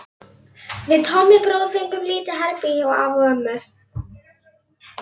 Við Tommi bróðir fengum lítið herbergi hjá afa og ömmu.